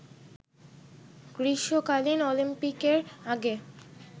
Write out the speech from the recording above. গ্রীষ্মকালীন অলিম্পিকের আগে